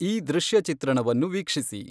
ಈ ದೃಶ್ಯ ಚಿತ್ರಣವನ್ನು ವೀಕ್ಷಿಸಿ